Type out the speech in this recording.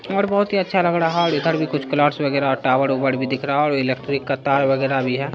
और बहुत ही अच्छा लग रहा है और इधर भी कुछ वगेरा टावर उवर भी दिख रहा और इलेक्ट्रिक का तार वगैरा भी हैं।